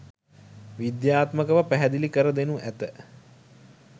විද්‍යාත්මකව පැහැදිලි කර දෙනු ඇත.